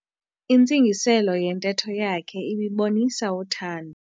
Intsingiselo yentetho yakhe ibibonisa uthando.